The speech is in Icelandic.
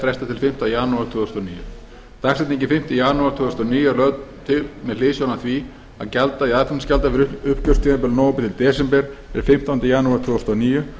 frestað til fimmta janúar tvö þúsund og níu dagsetningin fimmta janúar tvö þúsund og níu er lögð til með hliðsjón af því að gjalddagi aðflutningsgjalda fyrir uppgjörstímabilið nóvember til desember er fimmtándi janúar tvö þúsund og níu